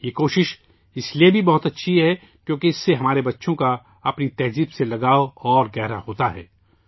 یہ کوشش اس لیے بھی بہت اچھی ہے کیونکہ اس سے ہمارے بچوں کا اپنی ثقافت سے لگاؤ مزیدگہرا ہوتا ہے